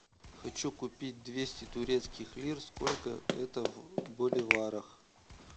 хочу купить двести турецких лир сколько это в боливарах